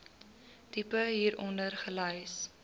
tipe hieronder gelys